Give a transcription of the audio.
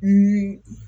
Ni